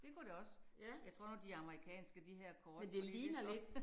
Det kunne det også. Jeg tror nu de amerikanske de her kort fordi der står